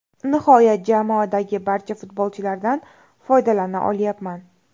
Nihoyat, jamoadagi barcha futbolchilardan foydalana olyapman.